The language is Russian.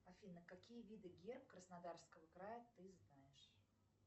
афина какие виды герб краснодарского края ты знаешь